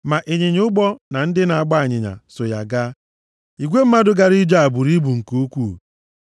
Ma ịnyịnya ụgbọ na ndị na-agba ịnyịnya, so ya gaa. Igwe mmadụ gara ije a buru ibu nke ukwuu.